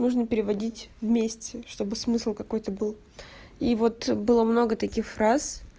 нужно переводить вместе чтобы смысл какой-то был и вот было много таких фраз